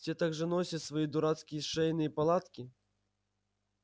все так же носит свои дурацкие шейные платки